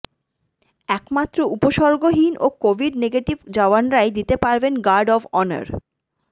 একমাত্র উপসর্গহীন ও কোভিড নেগেটিভ জওয়ানরাই দিতে পারবেন গার্ড অফ অনার